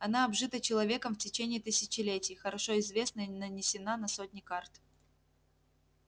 она обжита человеком в течение тысячелетий хорошо известна и нанесена на сотни карт